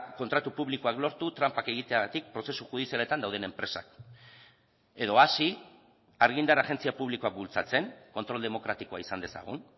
kontratu publikoak lortu tranpak egiteagatik prozesu judizialetan dauden enpresak edo hasi argindar agentzia publikoa bultzatzen kontrol demokratikoa izan dezagun